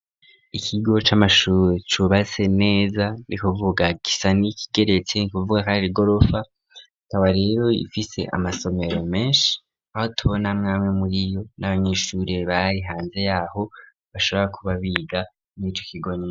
Ikigo c'amashuri cubatse neza ni kuvuga gisa nikigeretse nukuvuga kwari igorofa ikaba rero ifise amasomero meshi aho tubona amwamwe muriyo n'abanyeshuri bari hanze yaho bashobora kuba biga murico kigo nyene.